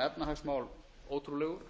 efnahagsmál ótrúlegur